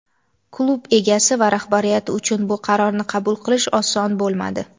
Klub egasi va rahbariyati uchun bu qarorni qabul qilish oson bo‘lmadi.